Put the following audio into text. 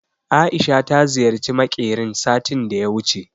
Aisha ta ziyarci makerin satin daya wuce